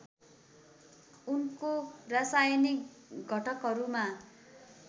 उनको रासायनिक घटकहरूमा